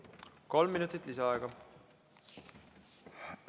Kolm minutit lisaaega!